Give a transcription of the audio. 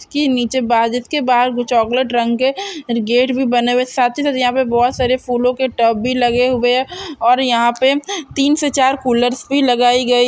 इसके नीचे के बाहर चॉकलेट रंग के गेट भी बने हुए हैं साथ ही साथ यहाँ पर बहुत सारे फूलो के टब भी लगे हुए हैं और यहाँ पे तीन से चार कूलर्स भी लगाई गई--